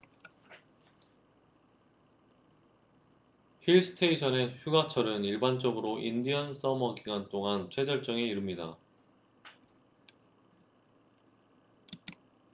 힐스테이션의 휴가철은 일반적으로 인디언 서머 기간 동안 최절정에 이릅니다